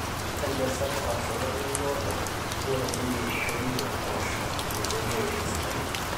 ore enjan sapuk aashu olameyu oodo neitadoyio eishoi oo mpoosho meitoki aaisho esidai